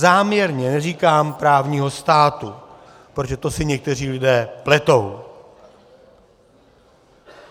Záměrně neříkám právního státu, protože to si někteří lidé pletou.